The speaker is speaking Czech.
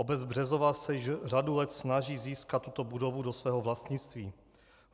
Obec Březová se již řadu let snaží získat tuto budovu do svého vlastnictví.